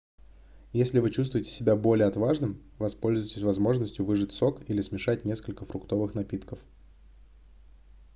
если вы чувствуете себя более отважным воспользуйтесь возможностью выжать сок или смешать несколько фруктовых напитков